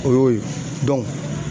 O y'o ye